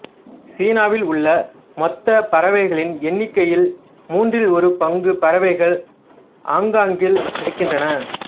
சீனாவில் உள்ள மொத்த பறவைகளின் எண்ணிக்கையில் மூன்றில் ஒரு பங்கு பறவைகள் ஆங்காங்கில் இருக்கின்றன